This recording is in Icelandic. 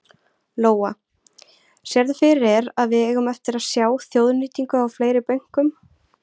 Lóa: Sérðu fyrir þér að við eigum eftir að sjá þjóðnýtingu á fleiri bönkum?